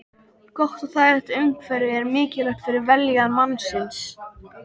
Gott og þægilegt umhverfi er mikilvægt fyrir vellíðan mannsins.